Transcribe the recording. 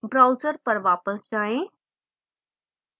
browser पर वापस जाएं